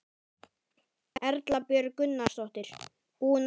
Erla Björg Gunnarsdóttir: Búinn að gera góð kaup?